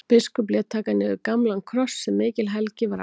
Biskup lét taka niður gamlan kross sem mikil helgi var á.